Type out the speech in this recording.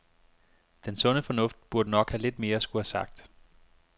Den sunde fornuft burde nok have lidt mere at skulle have sagt.